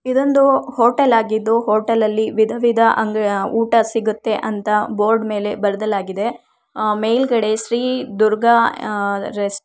ಇದೊಂದು ಹೋಟೆಲ್ ಆಗಿದ್ದು ಹೋಟೆಲ್ ನಲ್ಲಿ ವಿಧವಿಧ ಊಟ ಸಿಗುತ್ತದೆ ಅಂತ ಬೋರ್ಡ್ ಮೇಲೆ ಬರೆಯಲಾಗಿದೆ ಮೇಲ್ಗಡೆ ಶ್ರೀ ದುರ್ಗಾ ಅಹ್ ರೆಸ್ಟ್ --